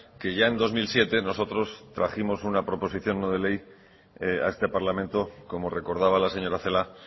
que ya en dos mil siete nosotros trajimos una proposición no de ley a este parlamento como recordaba la señora celaá